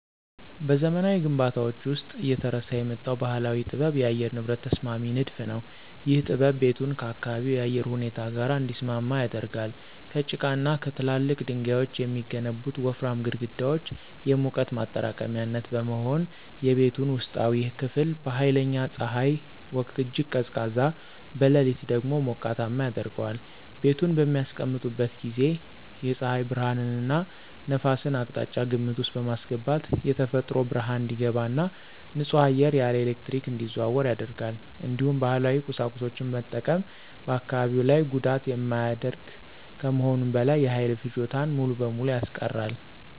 በዘመናዊ ግንባታዎች ውስጥ እየተረሳ የመጣው ባህላዊ ጥበብ የአየር ንብረት ተስማሚ ንድፍ ነው። ይህ ጥበብ ቤቱን ከአካባቢው የአየር ሁኔታ ጋር እንዲስማማ ያደርጋል። ከጭቃና ከትላልቅ ድንጋዮች የሚገነቡት ወፍራም ግድግዳዎች የሙቀት ማጠራቀሚያነት በመሆን፣ የቤቱን ውስጣዊ ክፍል በኃይለኛ ፀሐይ ወቅት እጅግ ቀዝቃዛ፣ በሌሊት ደግሞ ሞቃታማ ያደርገዋል። ቤቱን በሚያስቀምጡበት ጊዜ የፀሐይ ብርሃንንና ነፋስን አቅጣጫ ግምት ውስጥ በማስገባት የተፈጥሮ ብርሃን እንዲገባ እና ንጹህ አየር ያለ ኤሌክትሪክ እንዲዘዋወር ያደርጋል። እንዲሁም ባህላዊ ቁሳቁሶችን መጠቀም በአካባቢ ላይ ጉዳት የማያደርግ ከመሆኑም በላይ የኃይል ፍጆታን ሙሉ በሙሉ ያስቀራል።